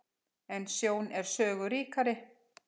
En sjón er sögu ríkari.